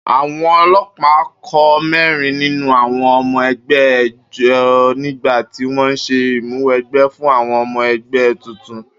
Àwo̩n o̩ló̩pàá kó mé̩rin nínú àwo̩n o̩mo̩ e̩gbé̩ ejò nígbà tí wó̩n ń s̩e ìmúwe̩gbé̩ fún àwo̩n o̩mo̩ e̩gbè̩ tuntun